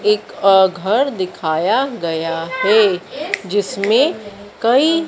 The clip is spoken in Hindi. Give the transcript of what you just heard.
एक अह घर दिखाया गया है जिसमें कई--